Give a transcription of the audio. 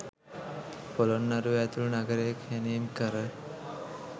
පොළොන්නරුවේ ඇතුළු නගරය කැණීම්කර,